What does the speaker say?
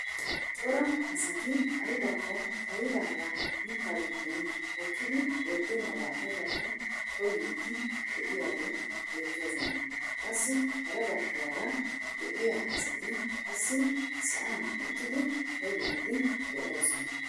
Cora asati aybakko xayidaagaa mittaa giddon hokkidi bettenabaa aybakko koyyiidi de'iyaagee beettoosona. qassi hara baggaara de'iyaa asati qassi sa'an uttidi koyyiidi de'oosona.